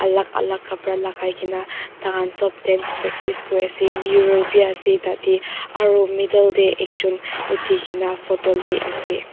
alak alak khapra lakai kaena tahan sop dance practice kuriase mirror bi ase tatae aro middle tae ekjon uthi kae na photo luiase.